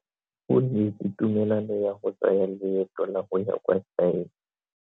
O neetswe tumalano ya go tsaya loeto la go ya kwa China.